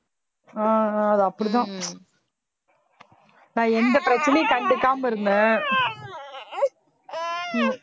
ஆஹ் அஹ் அது அப்படிதான் நான் எந்த பிரச்சனையும் கண்டுக்காம இருந்தேன்